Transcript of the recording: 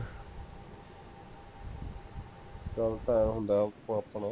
ਚਲ ਭਾ ਹੁਣ ਦਾਬ ਤੂੰ ਆਪਣਾ